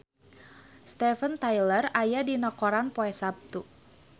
Steven Tyler aya dina koran poe Saptu